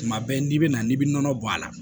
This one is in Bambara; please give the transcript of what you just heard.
Tuma bɛɛ n'i bɛna n'i bɛ nɔnɔ bɔ a la